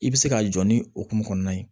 I bɛ se k'a jɔ ni okumu kɔnɔna ye